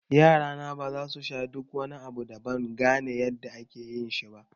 Yarana baza su sha duk wani abu da ban gane yadda ake yin shi ba